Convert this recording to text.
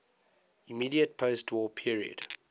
immediate postwar period